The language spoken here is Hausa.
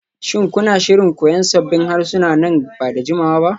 Shin kuna shirin koyan sabbin harsuna nan ba da jimawa ba?